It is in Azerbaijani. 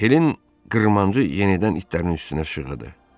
Helin qırmancı yenidən itlərin üstünə şaqqıldadı.